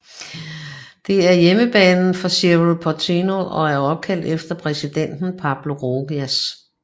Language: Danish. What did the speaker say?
Det er hjemmebanen for Cerro Porteño og er opkaldt efter præsidenten Pablo Rojas